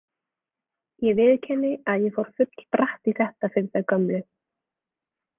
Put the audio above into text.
Ég viðurkenni að ég fór full bratt í þetta fyrir þau gömlu.